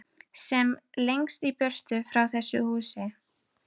Sem lengst í burtu frá þessu húsi.